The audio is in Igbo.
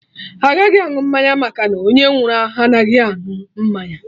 Agaghị aṅụ mmanya maka na onye nwụrụ anaghị anụ mmanya